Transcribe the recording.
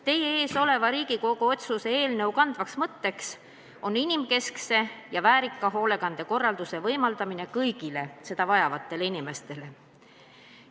Teie ees oleva Riigikogu otsuse eelnõu kandev mõte on inimkeskse ja väärika hoolekande võimaldamine kõigile seda vajavatele inimestele.